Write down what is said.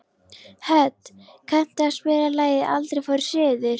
Hödd, kanntu að spila lagið „Aldrei fór ég suður“?